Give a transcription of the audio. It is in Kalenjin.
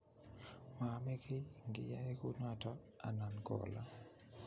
Moome kiy ngiyoe kunoto anan ko olo